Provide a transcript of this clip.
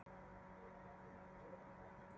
Almenningur fái að sjá kjólinn